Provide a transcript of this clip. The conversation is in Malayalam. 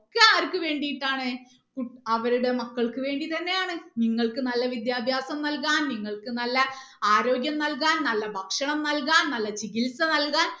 ഒക്കെ ആർക്ക് വേണ്ടീട്ടാണ് കു അവരുടെ മക്കൾക്ക് വേണ്ടി തന്നെയാണ് നിങ്ങൾക്ക് നല്ല വിദ്യഭ്യാസം നൽകാൻ നിങ്ങൾക്ക് നല്ല ആരോഗ്യം നൽകാൻ നല്ല ഭക്ഷണം നൽകാൻ നല്ല ചികിത്സ നൽകാൻ